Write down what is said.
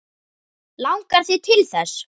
Langar þig til þess?